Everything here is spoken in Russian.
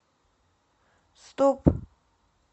стоп